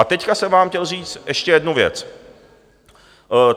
A teď jsem vám chtěl říct ještě jednu věc.